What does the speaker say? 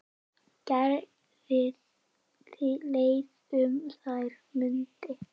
Gerði leið um þær mundir.